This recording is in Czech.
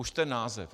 Už ten název!